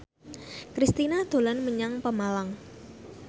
Kristina dolan menyang Pemalang